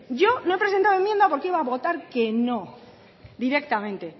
yo no he presentado enmienda porque iba a votar que no directamente